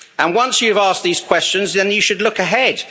Once you've asked these questions then you should look ahead.